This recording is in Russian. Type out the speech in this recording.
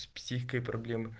с психикой проблемы